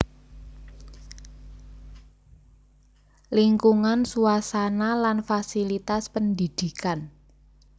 Lingkungan suasana lan fasilitas pendidikan